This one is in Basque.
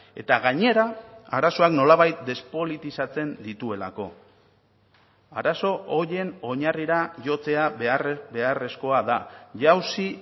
eta gainera arazoak nolabait despolitizatzen dituelako arazo horien oinarrira jotzea beharrezkoa da jauzi